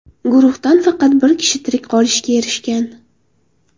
Guruhdan faqat bir kishi tirik qolishga erishgan.